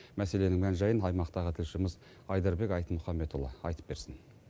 мәселенің мән жайын аймақтағы тілшіміз айдарбек айтмұханбетұлы айтып берсін